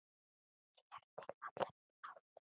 Sér til allra átta.